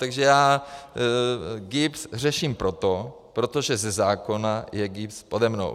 Takže já GIBS řeším proto, protože ze zákona je GIBS pode mnou.